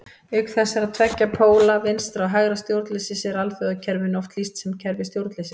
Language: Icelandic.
Auk þessara tveggja póla vinstra- og hægra stjórnleysis er alþjóðakerfinu oft lýst sem kerfi stjórnleysis.